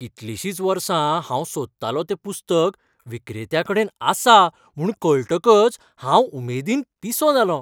कितलीशींच वर्सां हांव सोदतालों तें पुस्तक विक्रेत्याकडेन आसा म्हूण कळटकच हांव उमेदीन पिसो जालों !